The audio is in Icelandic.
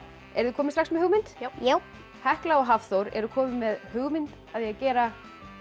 eruð þið komin með hugmynd já já hekla og Hafþór eru komin með hugmynd að því að gera